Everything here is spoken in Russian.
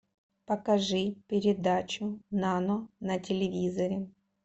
покажи передачу нано на телевизоре